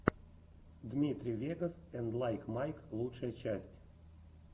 дмитрий вегас энд лайк майк лучшая часть